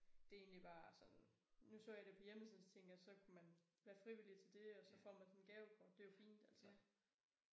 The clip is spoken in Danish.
Det egentlig bare sådan nu så jeg det på hjemmesiden så tænkte jeg så kunne man være frivillig til det og så får man sådan et gavekort det jo fint altså